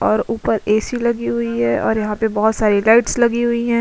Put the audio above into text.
और उपर ऐ_सी लगी हुई हैं और यहाँ पे बहोत सारी लाइट्स लगी हुई हैं।